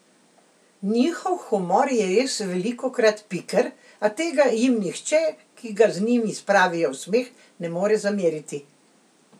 Njihov humor je res velikokrat piker, a tega jim nihče, ki ga z njim spravijo v smeh, ne more zameriti.